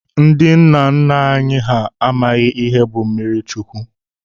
Ndi nna nna anyi ha amaghi ihe bu mmiri chụkwu.